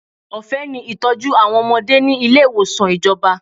Ọ̀fẹ́ ni ìtọ́jú àwọn ọmọdé ni ilé ìwòsàn ìjọba.